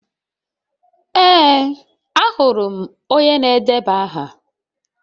Ee, ahụrụ m onye na-edeba aha.